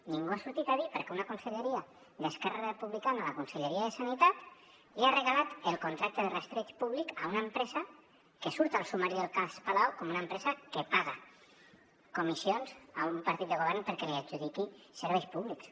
ningú ha sortit a dir per què una conselleria d’esquerra republicana la conselleria de salut li ha regalat el contracte de rastreig públic a una empresa que surt al sumari del cas palau com una empresa que paga comissions a un partit de govern perquè li adjudiqui serveis públics